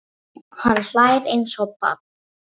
Hann hlær eins og barn.